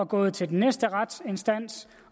gået til den næste retsinstans